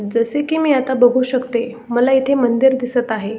जसे की मी आता बघू शकते मला इथे मंदिर दिसत आहे.